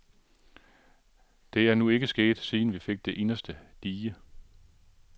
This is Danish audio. Det er nu ikke sket, siden vi fik det inderste dige.